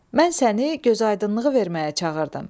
Mən səni gözaydınlığı verməyə çağırdım.